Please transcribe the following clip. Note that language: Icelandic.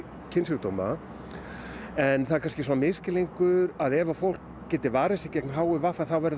kynsjúkdóma en það er kannski misskilningur að ef að fólk geti varið sig gegn h i v þá verði